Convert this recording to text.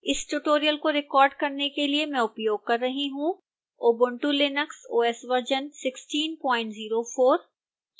इस tutorial को record करने के लिए मैं उपयोग कर रही हूँ